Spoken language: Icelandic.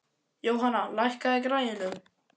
Jóhanna, lækkaðu í græjunum.